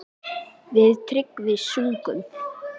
Við Tryggvi sungum